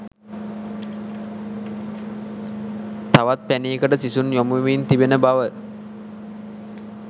තවත් පැණියකට සිසුන් යොමු වෙමින් පවතින බව